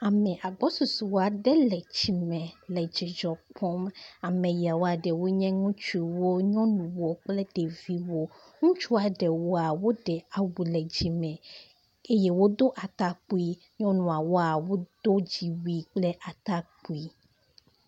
Ame agbɔsɔsɔ aɖe le tsi me le dzidzɔ kpɔm ame yawoa ɖewo nye ŋutsuwo, nyɔnuwo kple ɖeviwo. Ŋutsua ɖewoa woɖe awu le dzime eye wodo atakpui. Nyɔnua ɖewoa wodo dziwui kple atakpui.